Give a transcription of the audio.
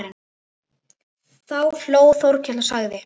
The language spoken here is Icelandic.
Þá hló Þórkell og sagði